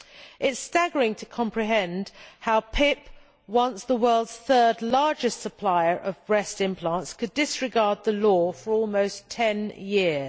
It is staggering to comprehend how PIP, once the world's third largest supplier of breast implants, could disregard the law for almost ten years.